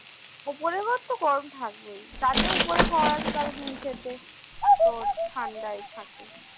ওপরের ঘর তো গরম থাকবেই। যাদের ওপরের ঘর আছে তাদের নীচেতে তোর ঠান্ডায় থাকে।